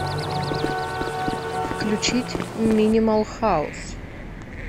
включить минимал хаус